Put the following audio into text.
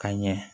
Ka ɲɛ